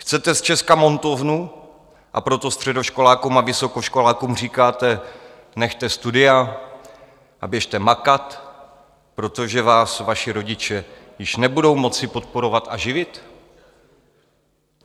Chcete z Česka montovnu, a proto středoškolákům a vysokoškolákům říkáte: Nechte studia a běžte makat, protože vás vaši rodiče již nebudou moci podporovat a živit?